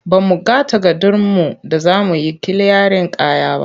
Ba mu ga takardunmu da za mu yi kiliyarin kaya ba.